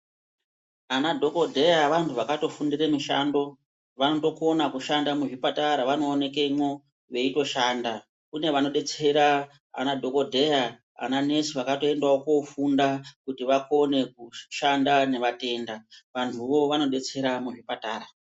Ana dhokodheya vantu vakatofundire mishando vanotokona kushanda muzviptara vanooneke mwo veitoshando kune vanodetsera ana dhokodheya ana nesi vakatoendawo koofunda kuti vakone kushanda nevatenda, vantuwo vanodetsera muzvipatara.